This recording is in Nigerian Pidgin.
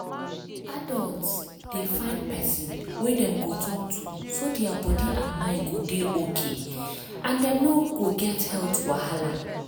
adults dey find person wey dem go talk to so their body and mind go dey okay and dem no go get health wahala